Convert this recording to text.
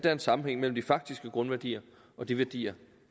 er en sammenhæng mellem de faktiske grundværdier og de værdier